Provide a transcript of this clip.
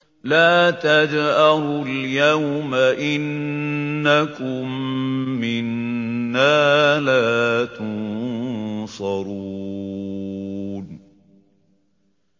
لَا تَجْأَرُوا الْيَوْمَ ۖ إِنَّكُم مِّنَّا لَا تُنصَرُونَ